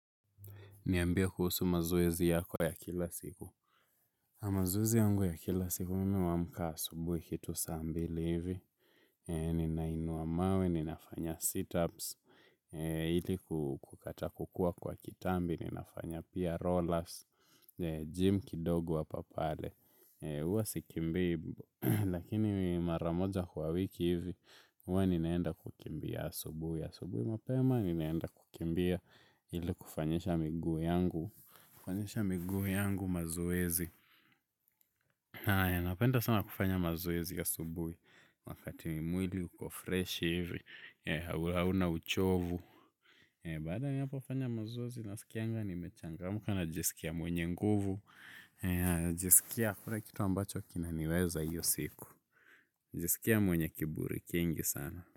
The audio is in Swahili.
Niambie kuhusu mazoezi yako ya kila siku. Amazoezi yangu ya kila siku mimi wamka asubui kitu sambili hivi. Ninainua mawe, ninafanya sit-ups, ili kukata kukua kwa kitambi, ninafanya pia rollers, gym kidogu hapapale. Uwa sikimbii, lakini maramoja kwa wiki hivi, uwa ninaenda kukimbia asubuhu asubuhi mapema, ninaenda kukimbia ili kufanyisha miguu yangu. Kufanyisha miguu yangu mazoezi haya napenda sana kufanya mazoezi asubui. Wakati mwili uko freshi hivi hauna uchovu. Baada ya hapo fanya mazoezi na sikianga ni mechangamka na jisikia mwenye nguvu. Jisikia hakuna kitu ambacho kina niweza hiyo siku. Jisikia mwenye kiburi kingi sana.